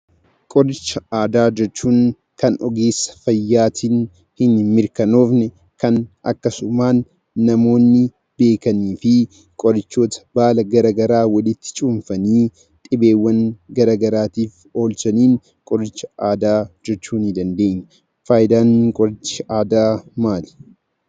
Qoricha aadaa jechuun kan ogeessa fayyaatiin hin mirkanoofne; akkasumaan namoonni beekanii fi qorichoota baala gara garaa walitti cuunfanii dhibeewwan gara garaatiif oolchaniin qoricha aadaa jechuu ni dandeenya. Faayidaan qoricha aadaa maali?